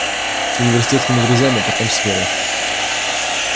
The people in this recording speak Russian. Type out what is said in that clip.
с университетскими друзьями потом с верой